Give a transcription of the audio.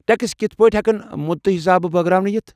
Tax کِتھ پٲٹھۍ ہٮ۪کن مُدتہٕ حسابہٕ بٲگراونہٕ یِتھ ؟